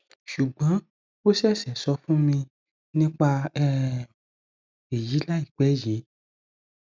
sùgbọn ó ṣẹṣẹ sọ fún mi nípa um èyí láìpẹ yìí